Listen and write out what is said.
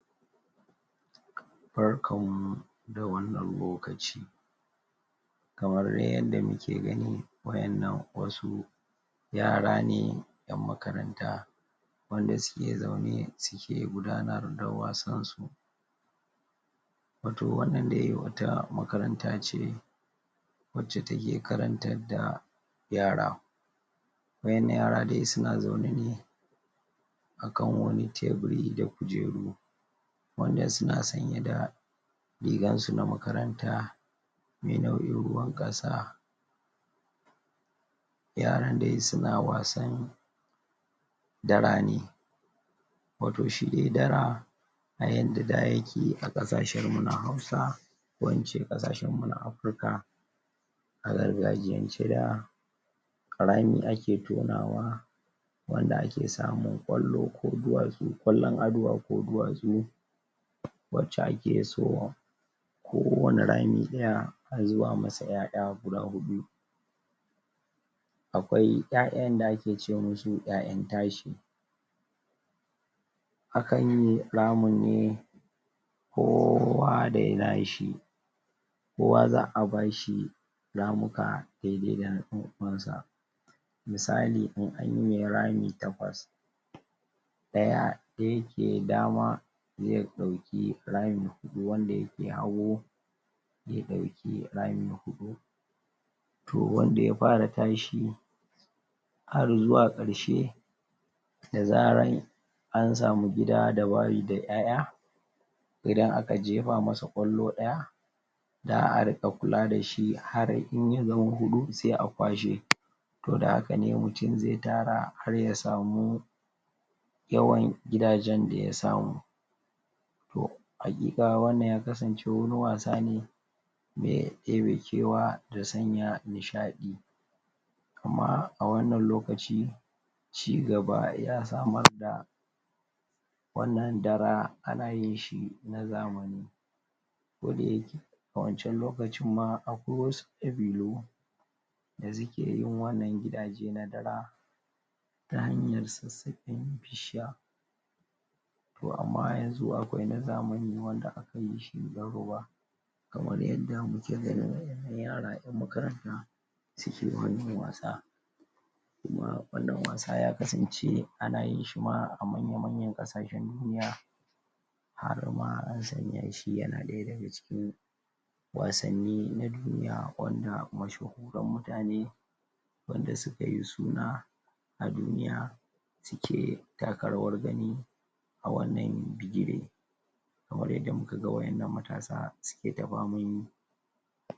barkan mu da wannan lokaci kamar yadda muke gani waƴannan wasu yara ne ƴan makaranta wanda suke zaune suke gudanar da wasan su wato wannan dai wata makaranta ce wacca take karantar da yara waƴannan yara dai suna zaune ne akan wani tebiri da kujeru wanda suna sanye da rigar su na makaranta me nau'in ruwan ƙasa yaran dai suna wasan dara ne wato shine dara a yanda da yake a ƙasashen mu na hausa ko ince ƙasashen mu na Africa a gargajiyan ce da rami ake tonawa wanda ake samun ƙwallo ko duwastu, ƙwallon aduwa ko duwatsu wacca ake so ko wane rami ɗaya a zuba masa ƴaƴa guda huɗu akwai ƴaƴan da ake ce musu ƴaƴan tashi akanyi ramin ne kowa da nashi kowa za'a bashi ramuka daidai da na ɗan uwansa misali in anyi rami takwas ɗaya da yake dama ze ɗauki rami huɗu wanda yake hagu ze ɗauki rami huɗu to wanda ya fara tashi har zuwa ƙarshe da zaran an samu gida da wari da ƴaƴa idan aka jefa masa ƙwallo ɗaya za'a riƙa kula dashi har in ya zama huɗu se a kwashe to da haka ne mutum ze tara har ya samu yawan gidajen daya samu to haƙiƙa wannan ya kasance wani wasa ne me ɗebe kewa da sanya nishaɗi amma a wannan lokaci ci gaba ya samar da wannan dara ana yinshi na zamani ko dayake a wancan lokacin ma akwai wasu ƙabilu da suke yin wannan gidaje na dara ta hanyar sassaƙen bishiya to amma yanzu akwai na zamani wanda aka yishi na ruba kamar yadda muke gani yara ƴan makaranta suke wannan wasa kuma wannan wasa ya kasance ana yin shi ma a manya manyan ƙasashen duniya harma an sanya shi yana ɗaya daga cikin wasanni na duniya wanda mashahuran mutane wanda sukati suna a duniya suke taka rawar gani a wannan bigire kamar yadda muka ga waƴannan matasa suke ta faman yi